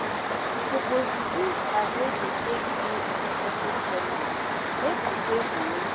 We suppose reduce as wey dey take do unnecessary spending make we save moni